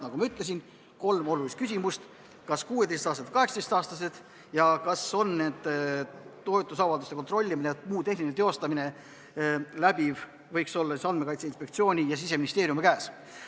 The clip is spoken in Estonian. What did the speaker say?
Nagu ma ütlesin, on olulised küsimused need: kas 16-aastased või 18-aastased ning kas toetusavalduste kontrollimine ja muu tehniline teostamine võiks olla Andmekaitse Inspektsiooni ja Siseministeeriumi käes.